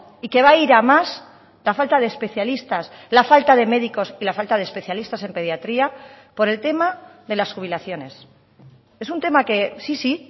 y que va a ir a más la falta de especialistas la falta de médicos y la falta de especialistas en pediatría por el tema de las jubilaciones es un tema que sí sí